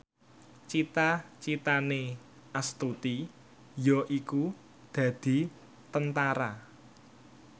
cita citane Astuti yaiku dadi Tentara